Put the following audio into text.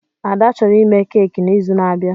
Ads chọrọ ime keki n'izu na-abịa.